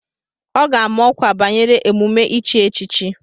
Ọ ga-ama ọkwa banyere emume ichi echichi.